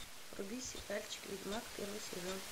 вруби сериальчик ведьмак первый сезон